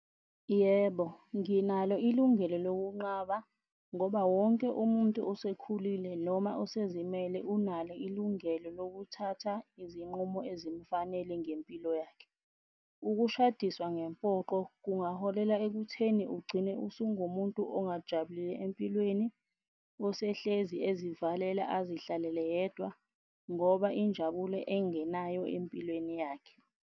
Yebo, nginalo ilungelo lokunqaba ngoba wonke umuntu osekhulile noma osezimele unalo ilungelo lokuthatha izinqumo ezifanele ngempilo yakhe. Ukushadiswa ngempoqo kungaholela ekutheni ugcine usungumuntu ongajabulile empilweni, osehlezi ezivalela azihlalele yedwa ngoba injabulo engenayo empilweni yakhe.